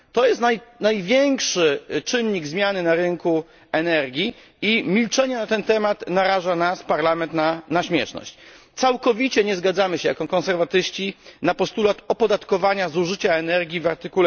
To jest największy czynnik zmiany na rynku energii i milczenie na ten temat naraża nas, czyli Parlament, na śmieszność. Całkowicie nie zgadzamy się jako konserwatyści z postulatem opodatkowania zużycia energii w art.